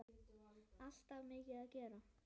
Alltaf mikið að gera.